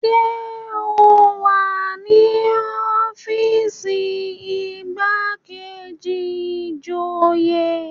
Ṣé o wà ní ọ́fíìsì igbákejì ìjòyè?